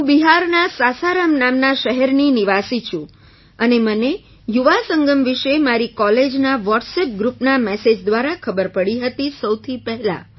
હું બિહારના સાસારામ નામના શહેરની નિવાસી છું અને મને યુવા સંગમ વિશે મારી કૉલેજના વૉટ્સઍપ ગ્રૂપના મેસેજ દ્વારા ખબર પડી હતી સૌથી પહેલા